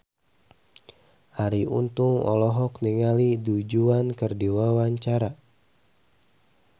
Arie Untung olohok ningali Du Juan keur diwawancara